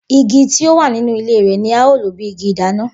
Igi tí ó wà nínú ilé rẹ̀ ni a ó lò bí igi ìdáná.